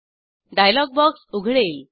dialogue box उघडेल